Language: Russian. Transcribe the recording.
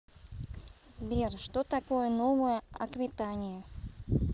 сбер что такое новая аквитания